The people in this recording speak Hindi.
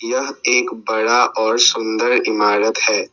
यह एक बड़ा और सुंदर इमारत है।